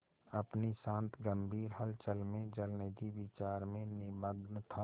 अपनी शांत गंभीर हलचल में जलनिधि विचार में निमग्न था